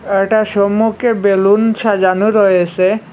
আ এটার সম্মুখে বেলুন সাজানো রয়েসে।